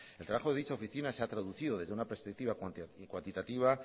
el trabajo de dicha oficina se ha traducido desde una perspectiva cuantitativa